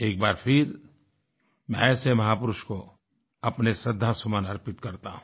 एक बार फिर मैं ऐसे महापुरुष को अपने श्रद्धासुमन अर्पित करता हूँ